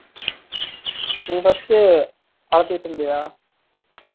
நீ first வலதுட்டு இருந்தியா?